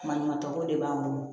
Maɲumanko de b'an bolo